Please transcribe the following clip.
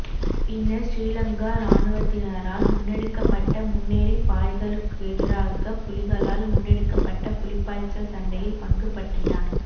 பின்னர் ஸ்ரீலங்கா இராணுவத்தினரால் முன்னெடுக்கப்பட்ட முன்னேறிப் பாய்தலுக்கெதிராக புலிகளால் முன்னெடுக்கப்பட்ட புலிப்பாய்ச்சல் சண்டையில் பங்குபற்றினார்